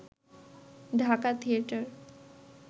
Dhaka theatre